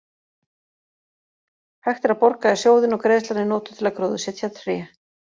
Hægt er að borga í sjóðinn og greiðslan er notuð til að gróðursetja tré.